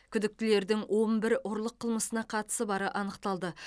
күдіктілердің он бір ұрлық қылмысына қатысы бары анықталды